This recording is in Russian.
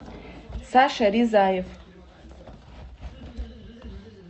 саша ризаев